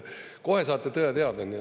Kohe saate tõe teada.